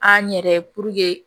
An yɛrɛ